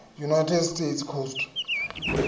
united states coast